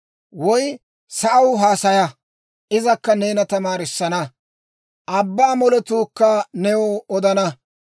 Woy sa'aw haasaya izakka neena tamaarisanna; abbaa moletuukka new odana.